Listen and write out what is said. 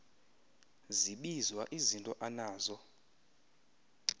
zibizwa izinto anazo